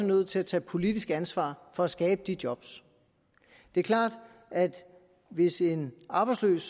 nødt til at tage politisk ansvar for at skabe de job det er klart at hvis en arbejdsløs